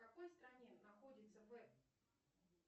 в какой стране находится вэб